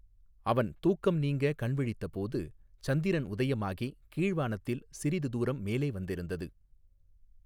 அவன் தூக்கம் நீங்க கண் விழித்த போது சந்திரன் உதயமாகி கீழ்வானத்தில் சிறிது தூரம் மேலே வந்திருந்தது.